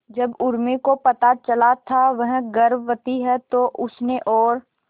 जब उर्मी को पता चला था वह गर्भवती है तो उसने और